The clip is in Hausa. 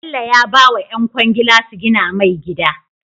Bello ya bawa yan kwangila su gina mai gida